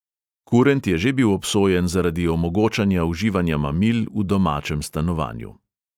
Kurent je že bil obsojen zaradi omogočanja uživanja mamil v domačem stanovanju.